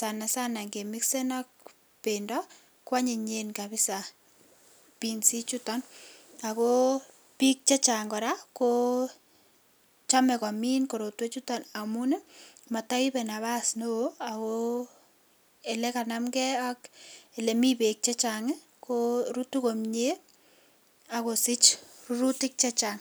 sana sana ak bendo kwonyinye kabisa binsichuton, ako bik chechang koraa kochome korotwechuton amun motoibe napas neo ako elekanamkee ak elemi beek chechang korutu komie ak kosich rurutik chechang.